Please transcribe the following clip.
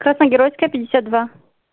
красногеройская пятьдесят два